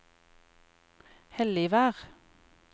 Helligvær